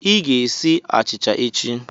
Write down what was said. Ị ga-esi achịcha echi!